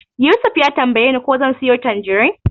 Yusuf ya tambayeni ko zan siyo tanjirin.